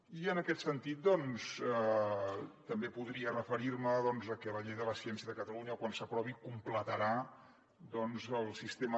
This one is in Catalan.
i en aquest sentit doncs també podria referir me a que la llei de la ciència de catalunya quan s’aprovi completarà el sistema